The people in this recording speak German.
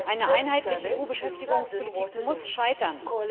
Eine einheitliche EU Beschäftigungspolitik muss scheitern.